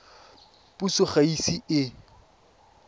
puso ga e ise e